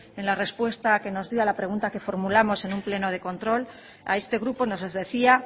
en la respuesta que nos dio a la pregunta que formulamos en un pleno de control a este grupo nos decía